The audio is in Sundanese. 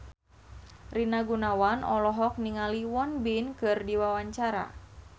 Rina Gunawan olohok ningali Won Bin keur diwawancara